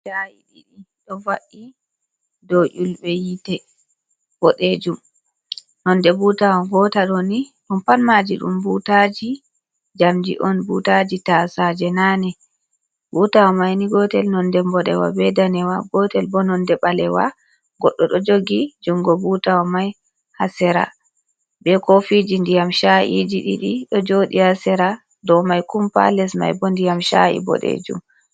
cha’i ɗii do fa’i do yulbe yite bodejum nonde butawa botao ni om panmaji dum butaji jamji on butaji tasaje nani butawa maini gotel nonde mbodewa be danewa gotel bo nonde balewa goddo do jogi jungo butawa mai hasera be kofiji ndiyam cha’iji didi do jodi hasera do mai kumpa les mai bo ndiyam cha’i bodejum